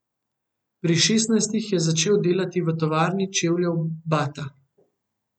Pri šestnajstih je začel delati v tovarni čevljev Bata.